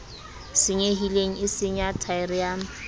senyehileng e senya thaere ya